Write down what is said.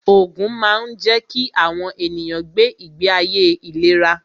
Ògùn máa ń jẹ́ kí àwọn ènìyàn gbé ìgbé ayé ìléra